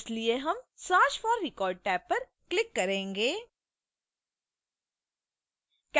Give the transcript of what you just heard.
इसलिए हम search for record tab पर click करेंगे